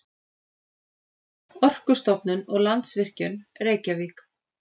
Orkustofnun og Landsvirkjun, Reykjavík.